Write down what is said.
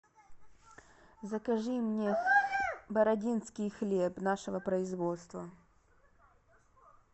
закажи мне бородинский хлеб нашего производства